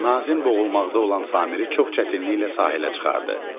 Nazim boğulmaqda olan Samiri çox çətinliklə sahilə çıxardı.